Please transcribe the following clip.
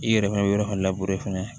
I yɛrɛ fɛnɛ bɛ yɔrɔ labure fɛnɛ